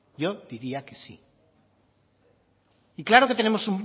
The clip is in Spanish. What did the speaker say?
yo diría que sí y claro que tenemos